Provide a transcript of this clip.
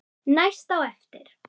Næst á eftir